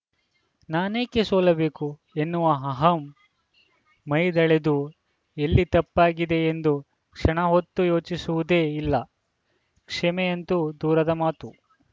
ನಾನೇಕೆ ಸೋಲಬೇಕು ಎನ್ನುವ ಅಹಂ ಮೈದೆಳೆದು ಎಲ್ಲಿ ತಪ್ಪಾಗಿದೆ ಎಂದು ಕ್ಷಣಹೊತ್ತೂ ಯೋಚಿಸುವುದೇ ಇಲ್ಲ ಕ್ಷಮೆಯಂತೂ ದೂರದ ಮಾತು